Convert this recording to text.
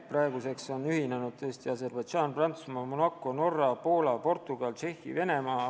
Praeguseks on uue konventsiooni ratifitseerinud Aserbaidžaan, Prantsusmaa, Monaco, Poola, Norra, Portugal, Tšehhi ja Venemaa.